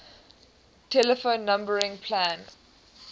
telephone numbering plan